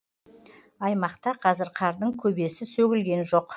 аймақта қазір қардың көбесі сөгілген жоқ